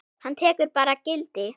Hann tekur bara gildi?